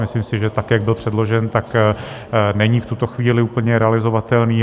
Myslím si, že tak jak byl předložen, tak není v tuto chvíli úplně realizovatelný.